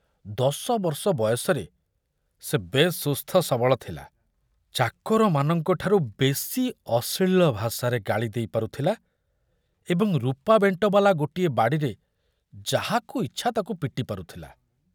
ଦଶବର୍ଷ ବୟସରେ ସେ ବେଶ ସୁସ୍ଥସବଳ ଥିଲା, ଚାକରମାନଙ୍କ ଠାରୁ ବେଶୀ ଅଶ୍ଳୀଳ ଭାଷାରେ ଗାଳି ଦେଇ ପାରୁଥିଲା ଏବଂ ରୂପା ବେଣ୍ଟବାଲା ଗୋଟିଏ ବାଡ଼ିରେ ଯାହାକୁ ଇଚ୍ଛା ତାକୁ ପିଟି ପାରୁଥିଲା।